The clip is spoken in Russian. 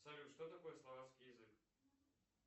салют что такое словацкий язык